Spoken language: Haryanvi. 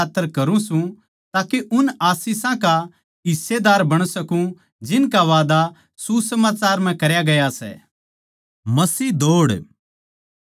मै यो सब कुछ सुसमाचार कै खात्तर करूँ सूं ताके उन आशीषां का हिस्सेदार बण सकूँ जिनका वादा सुसमाचार म्ह करया गया सै